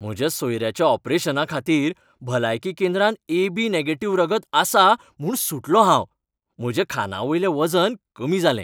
म्हज्या सोयऱ्याच्या ऑपरेशना खातीर भलायकी केंद्रांत ए.बी. नॅगेटिव्ह रगत आसा म्हूण सुटलो हांव. म्हज्या खांना वयलें वजन कमी जालें.